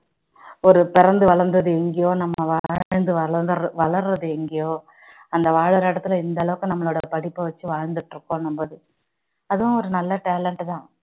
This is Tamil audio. ஒரு பிறந்து வளர்ந்தது எங்கேயோ நம்ம வாழ்ந்து வளர்ரது எங்கேயோ அந்த வாழுற இடத்தில இந்த அளவுக்கு நம்மளுடைய படிப்ப வச்சு வாழ்ந்துட்டு இருக்கோம் அதுவும் ஒரு நல்ல talent தான்